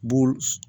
Bo